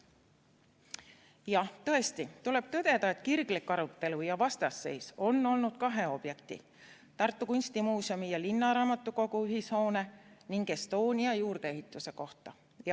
Jah, tõesti, tuleb tõdeda, et kirglik arutelu ja vastasseis on olnud kahe objekti, Tartu kunstimuuseumi ja linnaraamatukogu ühishoone ning Estonia juurdeehituse üle.